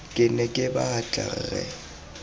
ke ne ke batla rre